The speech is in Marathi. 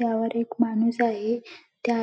त्यावर एक माणूस आहे त्या--